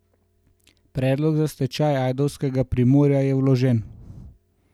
Predlog za stečaj ajdovskega Primorja je vložen.